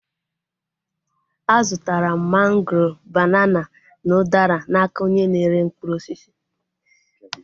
A zụtara m mangoro, banana, na udara n'aka onye na-ere mkpụrụ osisi